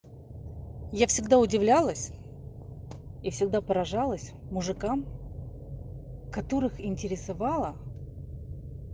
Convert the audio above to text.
я всегда удивлялась и всегда поражалась мужикам которых интересовала